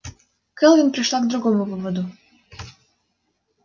кэлвин пришла к другому выводу